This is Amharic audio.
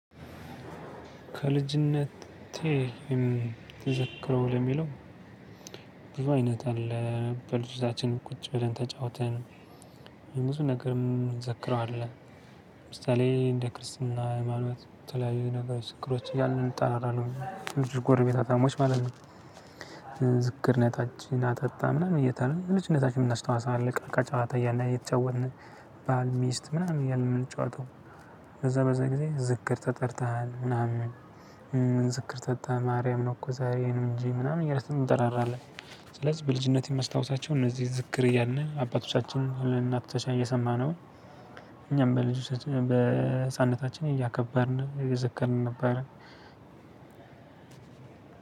ከልጅነቴ ምዘክረው ለሚለው ብዙ አይነት አለ በልጅታችን ቁጭ ብለን ተጫውተን ብዙ ነገርም እንዘክረዋለን ለምሳሌ እንደ ክርስትና ሃይማኖት የተለያዩ አይነት ችግሮች እያሉ እንጣራለን ልጁ ጎርቤት ሀብታሞች ማለት ነው። ዝግጅነታችን አጠጣ እየተነነ ልጅነታችን እናስተዋሳ አለቃ ጫሃታ እያለ የተጫወትን ባል ሚስት ምናምን እያለ የምንጫወተው ከዛ በዛ ጊዜ ዝክር ተጠርተናል። ምናምን ምን ስክር ተጣ ማርያም ነው እኮ ዛሬ ነው እንጂ ምናምን እያልን እንጠራራለን ስለዚህ በልጅነቴ መስታወታቸው እነዚህ ዝክር እያልን አባቶቻችን በልጅነታችን የሰማን ነው እኛም በልጅ በህፃንነታችን እያከበርን እየዘከርን ነበር።